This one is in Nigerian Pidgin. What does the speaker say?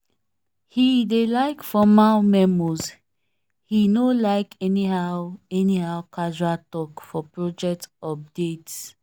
he dey like formal memos he no like anyhow anyhow casual talk for project updates